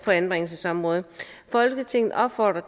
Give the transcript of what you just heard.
anbringelsesområdet folketinget opfordrer